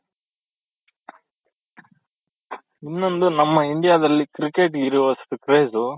ಇನೊಂದು ನಮ್ಮ India ದಲ್ಲಿ ಕ್ರಿಕೆಟ್ ಗೆ ಇರೋವಷ್ಟು craze